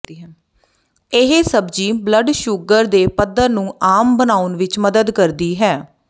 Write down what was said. ਇਹ ਸਬਜ਼ੀ blood sugar ਦੇ ਪੱਧਰ ਨੂੰ ਆਮ ਬਣਾਉਣ ਵਿਚ ਮਦਦ ਕਰਦੀ ਹੈ